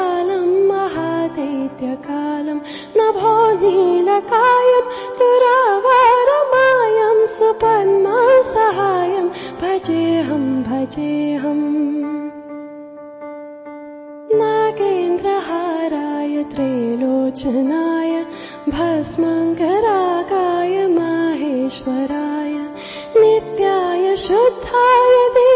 MKB EP 105 audio byte 1